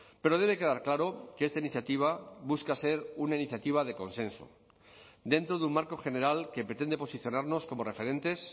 pero debe quedar claro que esta iniciativa busca ser una iniciativa de consenso dentro de un marco general que pretende posicionarnos como referentes